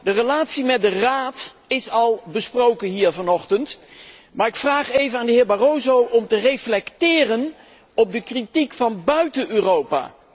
De relatie met de Raad is al besproken hier vanochtend, maar ik vraag even aan de heer Barroso om te reflecteren op de kritiek van buiten Europa.